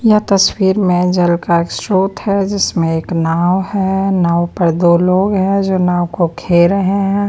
यह तस्वीर में जल का एक स्रोत है जिसमें एक नाव है नाव पर दो लोग हैं जो नाव को खे रहे है।